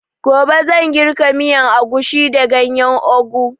Gobe zan girka miyan agushi da ganyan ogu